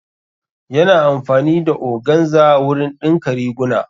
Ya na amfani da organza wurin ɗinka riguna